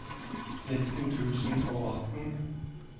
nitten tusen og atten